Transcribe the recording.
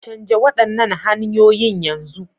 Canja waɗannan hanyoyin yanzu.